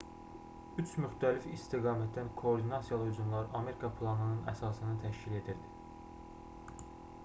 3 müxtəlif istiqamətdən koordinasiyalı hücumlar amerika planının əsasını təşkil edirdi